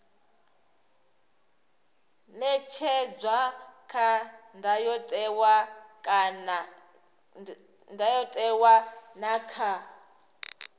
ṅetshedzwa kha ndayotewa na kha